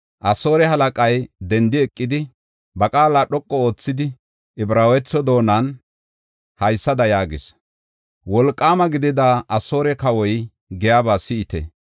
Asoore halaqay dendi eqidi, ba qaala dhoqu oothidi, Ibraawetho doonan haysada yaagis: “Wolqaama gidida Asoore kawoy giyaba si7ite!